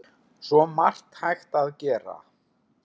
Svo margt hægt að gera.